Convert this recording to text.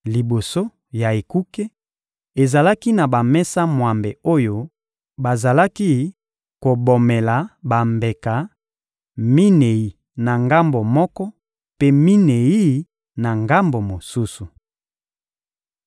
Liboso ya ekuke, ezalaki na bamesa mwambe oyo bazalaki kobomela bambeka: minei na ngambo moko mpe minei na ngambo mosusu.